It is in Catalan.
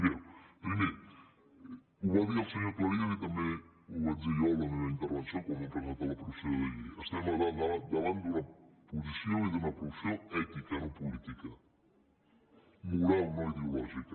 mireu primer ho va dir el senyor cleries i també ho vaig dir jo en la meva intervenció quan vam presentar la proposició de llei estem davant d’una posició i d’una proposició ètica no política moral no ideològica